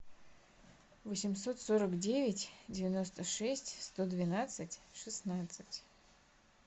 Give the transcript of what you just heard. восемьсот сорок девять девяносто шесть сто двенадцать шестнадцать